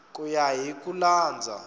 ku ya hi ku landza